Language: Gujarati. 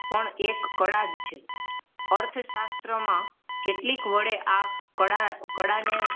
પણ એક કળા છે અર્થશાસ્ત્ર માં કેટલી વડે આ કળા કળાને